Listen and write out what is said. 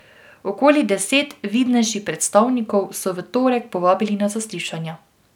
Okoli deset vidnejših predstavnikov so v torek povabili na zaslišanja.